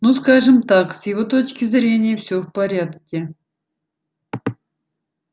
ну скажем так с его точки зрения все в порядке